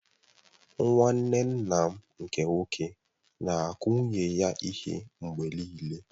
Nwanne nna m nke nwoke na-akụ nwunye ya ihe mgbe nịịle.